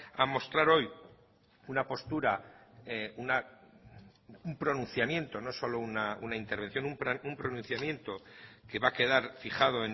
a mostrar hoy una postura un pronunciamiento no solo una intervención un pronunciamiento que va a quedar fijado